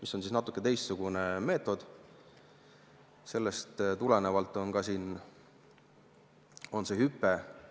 See on natuke teistsugune meetod ja sellest tulenevalt on siin graafikul ka see hüpe.